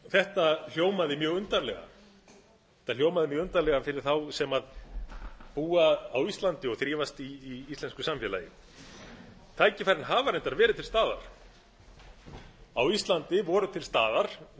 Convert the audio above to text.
þetta hljómaði mjög undarlega þetta hljómaði mjög undarlega við þá sem búa á íslandi og þrífast í íslensku samfélagi tækifærin hafa reyna verið til staðar á íslandi voru til staða